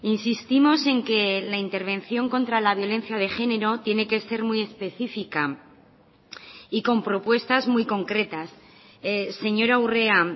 insistimos en que la intervención contra la violencia de género tiene que ser muy específica y con propuestas muy concretas señora urrea